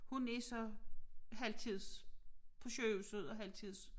Hun er så halvtids på sygehuset og halvtids